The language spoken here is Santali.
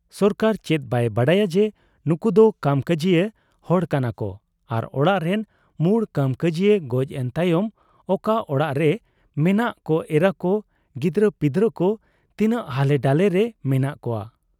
ᱥᱚᱨᱠᱟᱨ ᱪᱮᱫ ᱵᱟᱭ ᱵᱟᱰᱟᱭᱟ ᱡᱮ ᱱᱩᱠᱩᱫᱚ ᱠᱟᱢᱠᱟᱡᱤᱭᱟ ᱦᱚᱲ ᱠᱟᱱᱟᱠᱚ ᱟᱨ ᱚᱲᱟᱜᱨᱤᱱ ᱢᱩᱬ ᱠᱟᱢᱠᱟᱹᱡᱤᱭᱟ ᱜᱚᱡ ᱮᱱ ᱛᱟᱭᱚᱢ ᱚᱠᱟ ᱚᱲᱟᱜᱨᱮ ᱢᱮᱱᱟᱜ ᱠᱚ ᱮᱨᱟᱠᱚ, ᱜᱤᱫᱽᱨᱟᱹᱯᱤᱫᱽᱨᱟᱹᱠᱚ ᱛᱤᱱᱟᱹᱜ ᱦᱟᱞᱮᱰᱟᱞᱮᱨᱮ ᱢᱮᱱᱟᱜ ᱠᱚᱣᱟ ᱾